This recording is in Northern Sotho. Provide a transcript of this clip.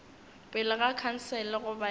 pele ga khansele goba ye